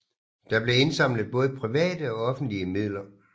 Der blev indsamlet både private og offentlige midler